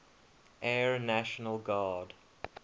air national guard